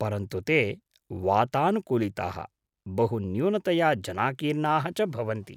परन्तु ते वातानुकूलिताः, बहुन्यूनतया जनाकीर्णाः च भवन्ति।